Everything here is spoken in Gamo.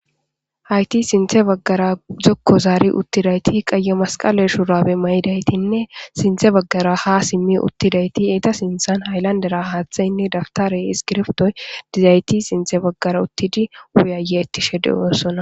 Hayti sintha bagara zoko zari utidayti qaey masqale shurabe mayidaytinne sintha bagara ha simi utidayti eta sinthan haylandera hatheynne daptarey isskibirtoy dizayti sinthe bagara utidi ufayetishe de'osona